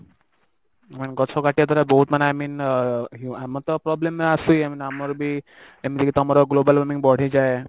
main ଗଛ କାଟିବା କଥା ବହୁତ ମାନେ i mean ଅ ଆମର ତ problem ଆସେ ମାନେ ଆମର ବି ଏମିତି କି ତମର global warming ବଢିଯାଏ